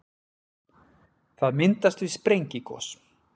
það myndast við sprengigos